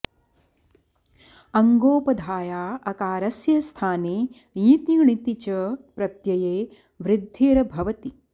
अङ्गोपधाया अकारस्य स्थाने ञिति णिति च प्रत्यये वृद्धिर् भवति